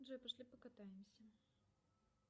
джой пошли покатаемся